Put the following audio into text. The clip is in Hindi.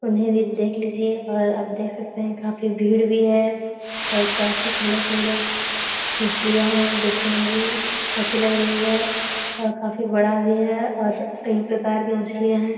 उन्हें भी देख लीजिए और आप देख काफी भीड़ भी है और काफी सुंदर-सुंदर मछलियाँ है देख ने में भी अच्छी लग रही है और काफी बड़ा भी है और कई प्रकार के मछलियाँ है।